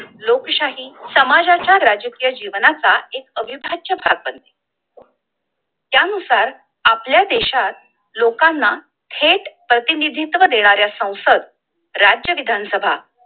लोकशाही समाजाच्या राजकीय जीवनाचा एक अविभाज्य प्रापंत आहे! त्यानुसार आपल्या देशात लोकांना थेट प्रतिनिधित्व देणाऱ्या संसद, राज्यविधानसभा